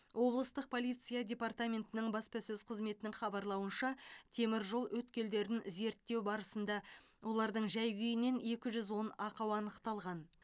облыстық полиция департаментінің баспасөз қызметінің хабарлауынша теміржол өткелдерін зерттеу барысында олардың жай күйінен екі жүз он ақау анықталған